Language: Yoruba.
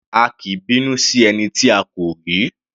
A kì í bínú sí ẹni tí a kò rí.